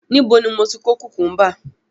Níbo ni mo ti kó kùkúḿbà?